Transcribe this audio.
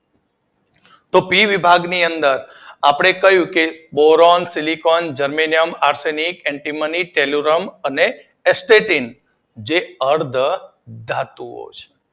તો પી વિભાગની અંદર આપડે ક્યૂ કે બોરોન, સીલિકોન, જર્મેનિયમ, આરથેરીક, એન્ટિમલી ટેરૂલમ, અને એસ્કેટિન જે અર્ધ ધાતુ ઑ છે